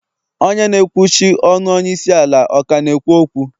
Onye na ekwuchi ọnu onye isi ala ọ ka na-ekwu okwu?